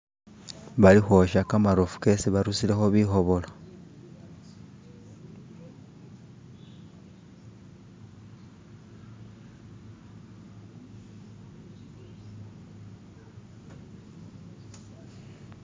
Balikwosha kamarofu kesi barusilekho kamakhobolyo